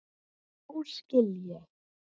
Nú skil ég.